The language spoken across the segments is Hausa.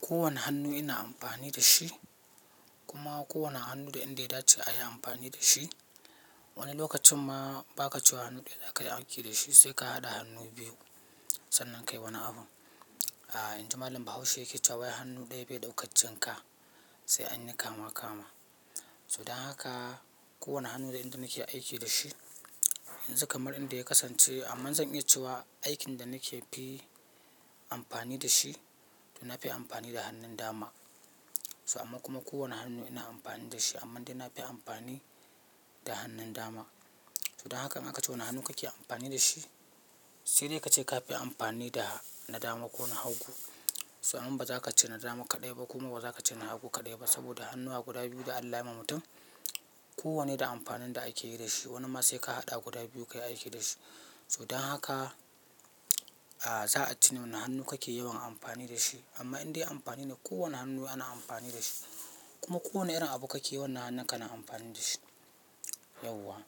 Kowane hannu ina amfani da shi kuma ko wani hannu da inda ya dace a yi amfani da shi. Wani lokacin ma ba ka ce wa hannu daya za ka yi aiki da shi sai ka haɗa hannu biyu sannan ka yi wani abun. A inji malam Bahaushe yake cewa "wai hannu ɗaya bai ɗaukan jin ka sai an yi kama kama." Don haka kowane hannu da inda nake aiki da shi. Yanzu kamar inda ya kasance am man zan iya cewa aikin da nake fi amfani da shi to na fi amfani da hannun dama. So amma kuma kowane hannu ina amfani da shi amman dai na fi amfani da hannun dama. Don haka in aka ce wani hannu kake amfani da shi, sai dai ka ce ka fi amfani da na dama ko na hagu. To amman ba za ka ce na dama kaɗai ba kuma ba za ka ce na hagu kaɗai ba saboda hannuwa guda biyu da Allah ya yi ma mutum. Ko wanne da amfanin da ake yi da shi. Wani ma sai ka haɗa guda biyu kayi aiki da shi. Don haka, a za a ce ne wani hannu kake yawan amfani da shi amma indai amfani ne, kowane hannu ana amfani da shi. Kuma kowane irin abu kake wannan hannun ka na amfani da shi yauwa.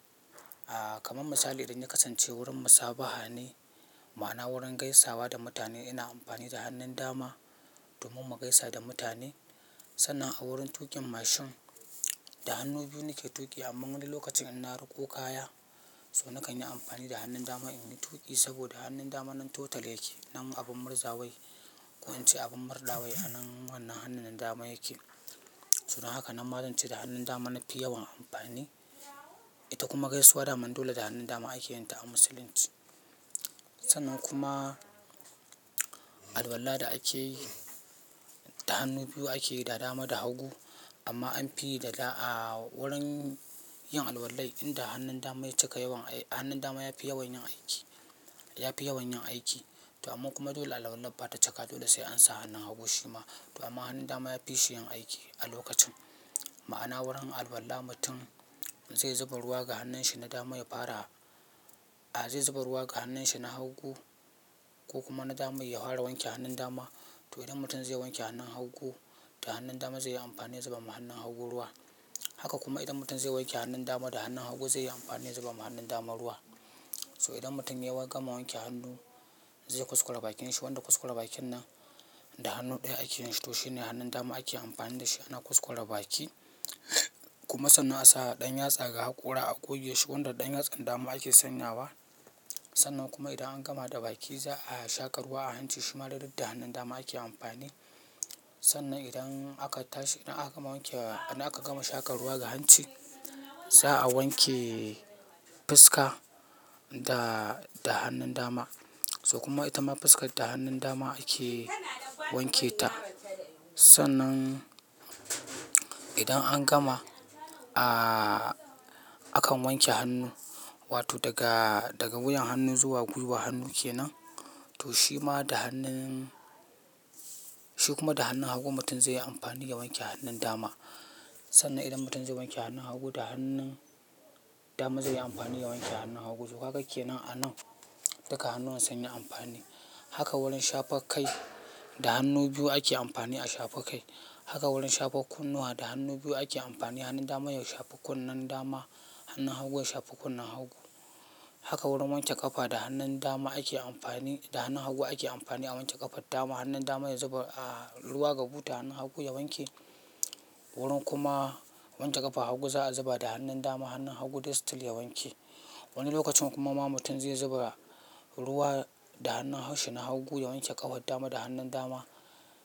A kaman misali idan ya kasance wurin musabaha ne ma'ana wurin gaisawa da mutane ina amfani da hannun dama domin mu gaisa da mutane. Sannan a wurin tuƙin mashin da hannu biyu nake tuƙi amman wani lokacin inna riko kaya so na kanyi amfani da hannun dama in yi tuƙi saboda hannun dama nan total yake. Nan abun marzawai ko in ce abin murɗawai a nan wannan hannun nan dama yake. Don haka nan ma zan ce da hannun dama nafi yawan amfani. Ita kuma gaisuwa daman dole da hannun dama ake yin ta a musulunci. Sannan kuma, alwala da ake yi da hannu biyu ake yi da dama da hagu amma an fi yi da da a wurin yin alwalan inda hannun dama ya cika yawan aiki, hannun dama ya fi yawan yin aiki. Ya fi yawan yin aiki to amma kuma dole alwalan bata cika dole sai an sa hannun hagu shi ma to amma hannun dama yafi shi yin aiki a lokacin. Ma'ana wurin alwala mutum zai zuba ruwa ga hannun shi na dama ya fara a zai zuba ruwa ga hannun shi na hagu ko kuma na dama ya fara wanke hannun dama to idan mutum zai wanke hannun hagu da hannun dama zai yi amfani ya zuba ma hannun hagu ruwa. Haka kuma idan mutum zai wanke hannun dama da hannun hagu zai yi amfani zuba ma hannun dama ruwa. To idan mutum ya gama wanke hannu zai kuskura bakin shi wanda kuskure bakin nan da hannu ɗaya ake yin shi to shi ne hannun dama ake amfani da shi ana kuskure baki. Kuma sannan a sa ɗan yatsa ga hakora a goge shi wanda ɗan yatsan dama ake sanya wa. Sannan kuma idan an gama da baki za'a shaƙa ruwa a hanci shi ma dai duk da hannun dama ake amfani. Sannan idan aka tashi idan aka gama wanke idan aka gama shaƙa ruwa ga hanci za'a wanke fuska da, da hannun dama. So kuma ita ma fuskar da hannun dama ake wanke ta. Sannan idan an gama a akan wanke hannu wato daga, daga wuyan hannu zuwa gwiwa hannu kenan to shi ma da hannun, shi kuma da hannun hagu mutum zai yi amfani ya wanke hannun dama. Sannan idan mutum zai wanke hannun hagu da hannun dama zai yi amfani ya wanke hannun hagu. To kaga kenan a nan duka hannuwan sunyi amfani. Haka wurin shafa kai da hannu biyu ake amfani a shafa kai. Haka wurin shafa kunnuwa da hannu biyu ake amfani. Hannun dama ya shafi kunnen dama, hannun hagu ya shafi kunnen hagu. Haka wurin wanke ƙafa da hannun dama ake amfani da hannun hagu ake amfani a wanke ƙafar dama. Hannun dama ya zuba a ruwa ga buta hannun hagu ya wanke. Wurin kuma wanke ƙafar hagu za'a zuba da hannun dama, hannun hagu dai still ya wanke. Wani lokacin kuma ma mutum zai zuba ruwa da hannun shi na hagu ya wanke ƙafar dama da hannun dama.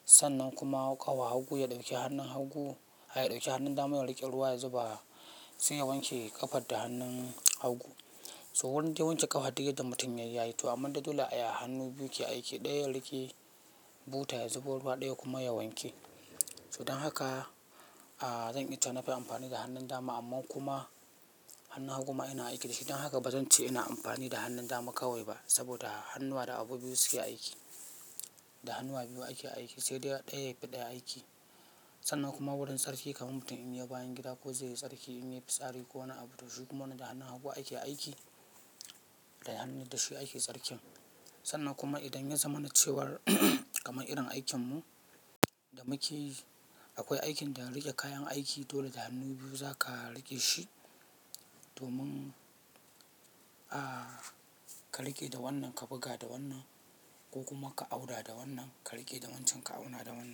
Sannan kuma ƙafa hagu ya ɗauki hannun hagu a ya ɗauki hannun dama ya riƙe ruwa ya zuba sai ya wanke ƙafar da hannun hagu. To wurin dai wanke ƙafa duk yaddda mutum yayi ya yi to amman dai dole a yi a hannu biyu ke aiki. Ɗaya ya riƙe buta ya zuba ruwa ɗaya kuma ya wanke. To don haka, a zan iya cewa na fi amfani da hannun dama amma kuma hannun hagu ma ina aiki da shi. Don haka bazan ce ina amfani da hannun dama kawai ba saboda hannuwa da abu biyu suke aiki. Da hannuwa biyu ake aiki sai dai ɗaya ya fi ɗaya aiki. Sannan kuma wurin tsarki kaman mutum in ya yi bayan gida ko zai yi tsarki in ya yi fitsari ko wani abu to shi kuma wannan da hannun hagu ake aiki. Da hannun da shi ake tsarkin. Sannan kuma idan ya zama na cewar kamar irin aikinmu da muke yi akwai aikin da riƙe kayan aiki dole da hannu biyu za ka riƙe shi domin a ka riƙe da wannan ka buga da wannan ko kuma ka auna da wannan ka riƙe da wancan ka auna da wannan.